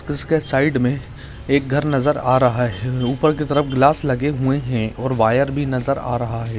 उसके साइड मे एक घर नजर आ रहा है ऊपर की तरफ ग्लास लगे हुए है और वायर भी नजर आ रहा है।